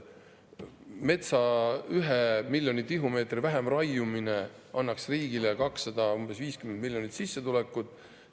Metsas 1 miljoni tihumeetri vähem raiumine nagu annaks riigile 250 miljonit sissetulekut.